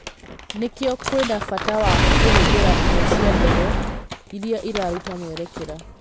"Nĩkĩo kwĩna bata wa kũhũthĩra indo cia ndege, iria iraruta mwerekera.